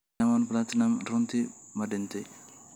Diamond Platnumz runtii ma dhintay?